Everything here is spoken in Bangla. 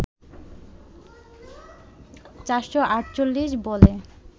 ৪৪৮ বলে